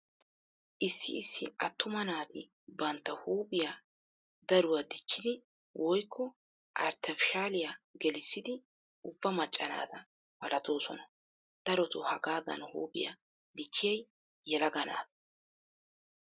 Issi issi attuma naati bantta huuphiya daruwa dichchidi woykko arttefishaaliya gelissidi ubba macca naata malatoosona. Daroto hagaadan huuphiya dichchiyay yelaga naata.